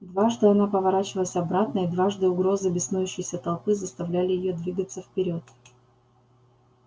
дважды она поворачивалась обратно и дважды угрозы беснующейся толпы заставляли её двигаться вперёд